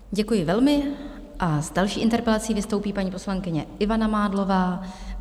Děkuji velmi a s další interpelací vystoupí paní poslankyně Ivana Mádlová.